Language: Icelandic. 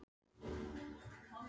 Daðína mín er kannski ekki heima?